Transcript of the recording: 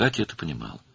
Katya bunu başa düşürdü.